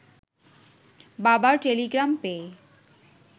বাবার টেলিগ্রাম পেয়ে